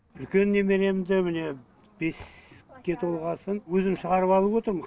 үлкен немеремді міне беске толғасын өзім шығарып алып отырмын